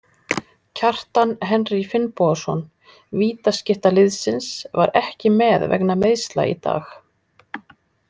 Kjartan Henry Finnbogason, vítaskytta liðsins, var ekki með vegna meiðsla í dag.